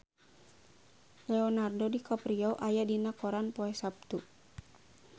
Leonardo DiCaprio aya dina koran poe Saptu